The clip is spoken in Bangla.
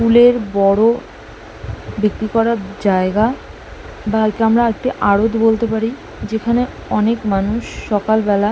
ফুলের বড় বিক্রি করার জায়গা বা একে আমরা একটি আরত বলতে পারি যেখানে অনেক মানুষ সকালবেলা--